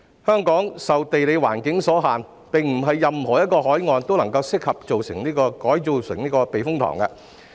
香港受地理環境所限，並不是任何一個海岸都適合建成避風塘。